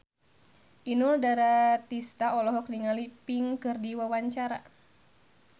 Inul Daratista olohok ningali Pink keur diwawancara